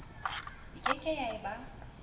e keke ya e ba